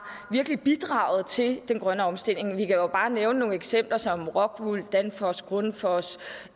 bidraget til den grønne omstilling vi kan jo bare nævne nogle eksempler som rockwool danfoss grundfos